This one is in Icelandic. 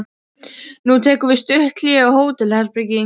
Nú tekur við stutt hlé á hótelherbergi.